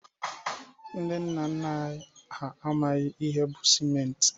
Ndị nna nna anyi ha amaghi ihe bụ sịmenti.